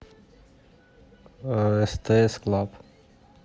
стс клаб